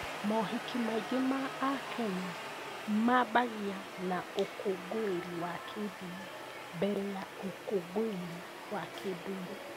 Mohiki maingĩ ma AKenya maambagia na ũkũngũĩri wa kĩndini mbere ya ũkũngũĩri wa kĩndũire.